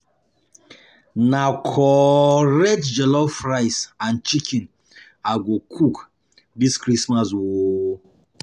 Na correct jollof rice and chicken I go cook dis Christmas o.